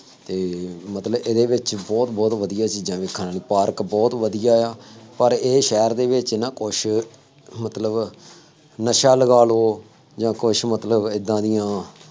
ਅਤੇ ਮਤਲਬ ਇਹਦੇ ਵਿੱਚ ਬਹੁਤ ਬਹੁਤ ਵਧੀਆ ਚੀਜ਼ਾਂ ਦੇਖਣ ਵਾਲੀਆਂ, ਪਾਰਕ ਬਹੁਤ ਵਧੀਆ ਆ, ਪਰ ਇਹ ਸ਼ਹਿਰ ਦੇ ਵਿੱਚ ਨਾ ਕੁੱਛ, ਮਤਲਬ ਨਸ਼ਾ ਲਗਾ ਲਉ ਜਾਂ ਕੁੱਛ ਮਤਲਬ ਏਦਾਂ ਦੀਆਂ